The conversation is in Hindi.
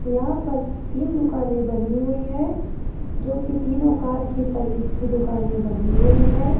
यहां पर तीन दुकानें बनी हुई है जो कि तीनों कार की सर्विस की दुकानें बनी हुई है।